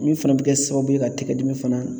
Min fana bɛ kɛ sababu ye ka tigɛdimi fana